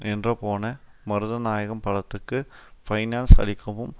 நின்றுபோன மருதநாயகம் படத்துக்கு பைனான்ஸ் அளிக்கவும்